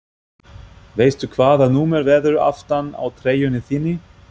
Veistu hvaða númer verður aftan á treyjunni þinni?